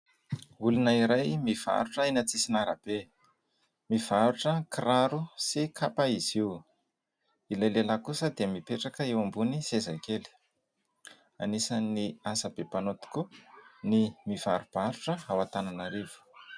Olona iray mivarotra eny an-tsisin'arabe. Mivarotra kiraro sy kapa izy io. Ilay lehilahy kosa dia mipetraka eo ambony seza kely. Anisan'ny asa be mpanao tokoa ny mivarobarotra ao Antananarivo.